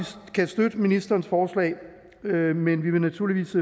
kan støtte ministerens forslag men vi vil naturligvis